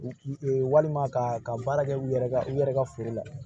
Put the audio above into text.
Walima ka ka baara kɛ u yɛrɛ ka u yɛrɛ ka foro la